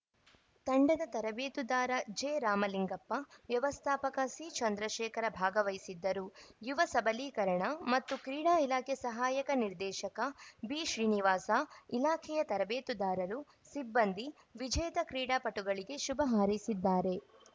ತಂಡದ ತರಬೇತುದಾರ ಜೆರಾಮಲಿಂಗಪ್ಪ ವ್ಯವಸ್ಥಾಪಕ ಸಿಚಂದ್ರಶೇಖರ ಭಾಗವಹಿಸಿದ್ದರು ಯುವ ಸಬಲೀಕರಣ ಮತ್ತು ಕ್ರೀಡಾ ಇಲಾಖೆ ಸಹಾಯಕ ನಿರ್ದೇಶಕ ಬಿಶ್ರೀನಿವಾಸ ಇಲಾಖೆಯ ತರಬೇತುದಾರರು ಸಿಬ್ಬಂದಿ ವಿಜೇತ ಕ್ರೀಡಾಪಟುಗಳಿಗೆ ಶುಭ ಹಾರೈಸಿದ್ದಾರೆ